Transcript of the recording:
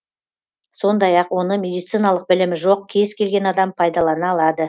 сондай ақ оны медициналық білімі жоқ кез келген адам пайдалана алады